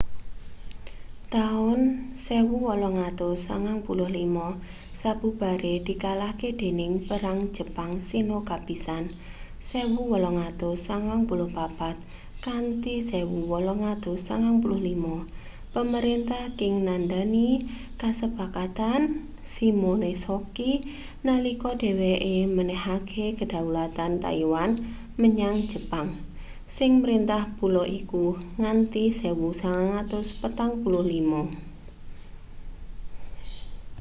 taun 1895 sabubare dikalahke dening perang jepang-sino kapisan 1894-1895 pemerintah qing nandhani kasepakatan shimonoseki nalika dheweke menehake kedaulatan taiwan menyang jepang sing mrintah pulo iku nganti 1945